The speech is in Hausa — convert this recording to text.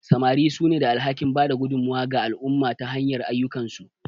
Samari sune da alhakin bada gudummawa ga al'umma ta hanyar ayyukansu.